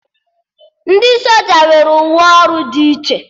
Ndị soja nwere uwe ọrụ dị iche